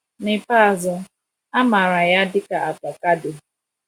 N’ikpeazụ, a mara ya dị ka avocado.